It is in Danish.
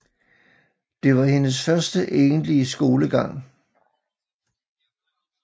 Det var hendes første egentlige skolegang